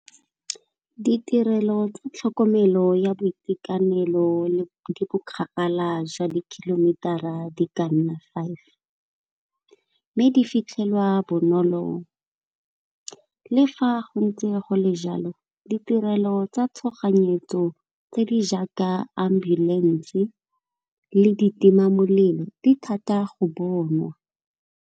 Ditirelo tsa tlhokomelo ya boitekanelo di bo kgakala jwa di-kilometer-a di kanna five, mme di fitlhelwa bonolo le fa go ntse go le jalo ditirelo tsa tshoganyetso tse di jaaka ambulance le ditima molelo di thata go bonwa.